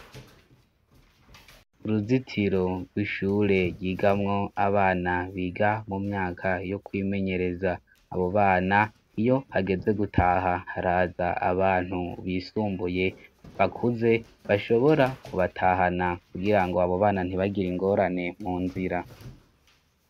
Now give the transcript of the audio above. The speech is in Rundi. Uruzitiro rw'ishure ryigamwo abana biga mu myaka yo kwimenyereza abo bana iyo hageze gutaha haraza abantu bisumbuye bakuze bashobora kubatahana kugira ngo abo bana ntibagira ingorane mu nzira.